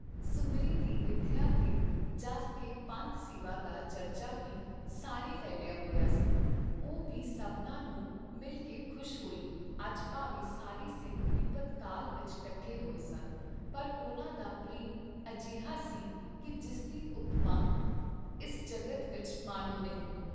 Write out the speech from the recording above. ਸੁੰਦਰੀ ਦੀ ਵਿਥਯਾ ਤੇ ਜਸ ਤੇ ਪੰਥ ਸੇਵਾ ਦਾ ਚਰਚਾ ਬੀ ਸਾਰੇ ਫੈਲਿਆ ਹੋਇਆ ਸੀ, ਉਹ ਭੀ ਸਭਨਾਂ ਨੂੰ ਮਿਲ ਕੇ ਖੁਸ਼ ਹੋਈ ਅੱਜ ਭਾਵੇਂ ਸਾਰੇ ਸਿੰਘ ਬਿਪਤ ਕਾਲ ਵਿਚ ਕੱਠੇ ਹੋਏ ਸਨ, ਪਰ ਉਨ੍ਹਾਂ ਦਾ ਪ੍ਰੇਮ ਅਜਿਹਾ ਸੀ ਕੀ ਜਿਸਦੀ ਉਪਮਾ ਇਸ ਜਗਤ ਵਿਚ ਮਾਨੋਂ ਨਹੀਂ।